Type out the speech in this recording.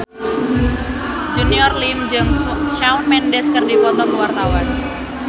Junior Liem jeung Shawn Mendes keur dipoto ku wartawan